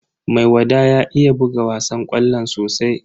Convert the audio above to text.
Maiwada ya iya buga wasan ƙwallo sosai.